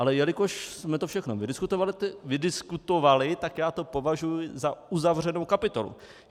Ale jelikož jsme to všechno vydiskutovali, tak já to považuji za uzavřenou kapitolu.